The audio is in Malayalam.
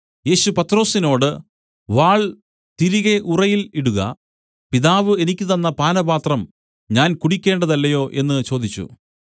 യേശു പത്രൊസിനോട് വാൾ തിരികെ ഉറയിൽ ഇടുക പിതാവ് എനിക്ക് തന്ന പാനപാത്രം ഞാൻ കുടിക്കേണ്ടതല്ലയോ എന്ന് ചോദിച്ചു